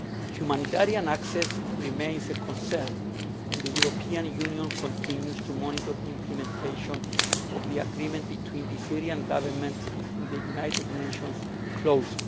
Humanitarian access remains a concern and the European Union continues to monitor the implementation of the agreement between the Syrian Government and the United Nations closely.